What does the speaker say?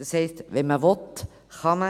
Das heisst, wenn man will, kann man.